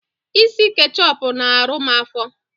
Ịsị ketchup na arụ m afo